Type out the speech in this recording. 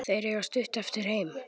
Þeir eiga stutt eftir heim.